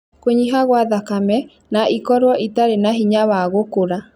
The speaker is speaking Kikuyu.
Kũnyiha kwa thakame, na ikorwo itarĩ na hinya wa gũkũra.